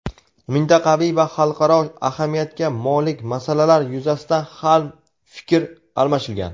Mintaqaviy va xalqaro ahamiyatga molik masalalar yuzasidan ham fikr almashilgan.